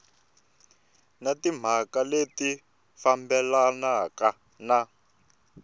na timhaka leti fambelanaka na